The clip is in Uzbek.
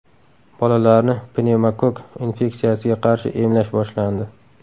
Bolalarni pnevmokokk infeksiyasiga qarshi emlash boshlandi.